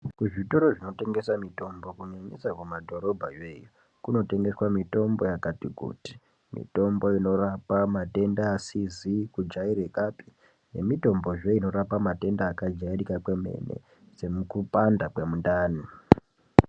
Zvitoro zvinotengesa mitombo kunyanyisa kuma mumadhorobha yoiyo kunotengeswa mitombo yakati kuti mitombo asizi kujairikapi nemitombo zve inorapa matenda akajairika kwemene sekupanda kwemundani.